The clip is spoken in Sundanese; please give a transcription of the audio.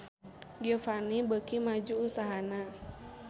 Giovanni beuki maju usahana